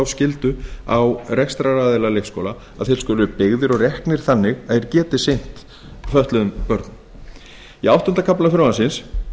skyldu á rekstraraðila leikskóla að þeir skuli byggðir og reknir þannig að þeir geti sinnt fötluðum börnum í áttunda kafla frumvarpsins